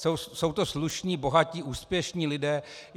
Jsou to slušní, bohatí, úspěšní lidé.